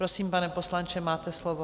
Prosím, pane poslanče, máte slovo.